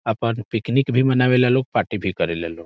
अपन पिकनिक भी मनावे ला लोग पार्टी भी करेला लोग।